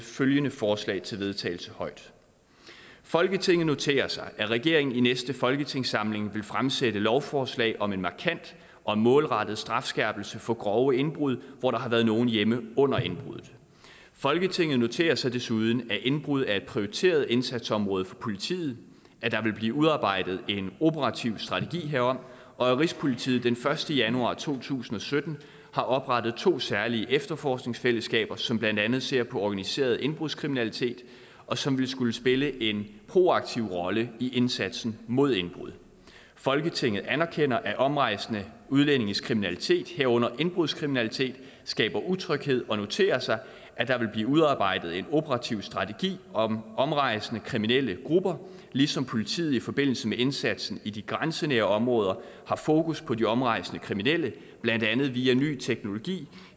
følgende forslag til vedtagelse folketinget noterer sig at regeringen i næste folketingssamling vil fremsætte lovforslag om en markant og målrettet strafskærpelse for grove indbrud hvor der har været nogen hjemme under indbruddet folketinget noterer sig desuden at indbrud er et prioriteret indsatsområde for politiet at der vil blive udarbejdet en operativ strategi herom og at rigspolitiet den første januar to tusind og sytten har oprettet to særlige efterforskningsfællesskaber som blandt andet ser på organiseret indbrudskriminalitet og som vil skulle spille en proaktiv rolle i indsatsen mod indbrud folketinget anerkender at omrejsende udlændinges kriminalitet herunder indbrudskriminalitet skaber utryghed og noterer sig at der vil blive udarbejdet en operativ strategi om omrejsende kriminelle grupper ligesom politiet i forbindelse med indsatsen i de grænsenære områder har fokus på de omrejsende kriminelle blandt andet via ny teknologi